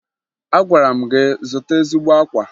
Agwara m gị zụta ezigbo akwa!